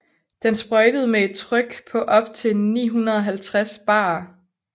Den sprøjtede med et tryk på op til 950 bar